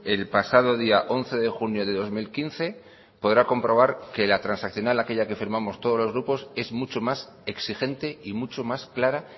el pasado día once de junio de dos mil quince podrá comprobar que la transaccional aquella que firmamos todos los grupos es mucho más exigente y mucho más clara